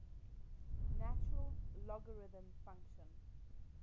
natural logarithm function